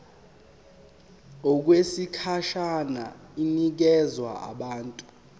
okwesikhashana inikezwa abantu